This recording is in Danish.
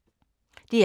DR K